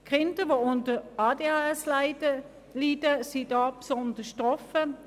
Kinder, die unter einer ADHS leiden, sind da besonders betroffen.